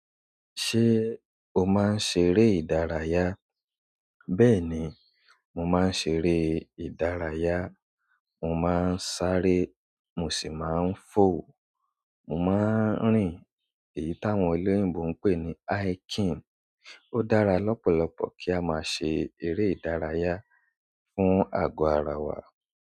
Ṣé o máa ń ṣeré ìdárayá? Bẹ́ẹ̀ni, mo máa ń ṣeré ere ìdárayá. Mo máa ń sáré, mo sì máa ń fò. Mo máa ń rìn. Èyí táwọn olóyinbo ń pè ní hiking. Ó dára lọ́pọ̀lọpọ̀ kí a máa ṣe eré ìdárayá fún àgọ́ ara wa.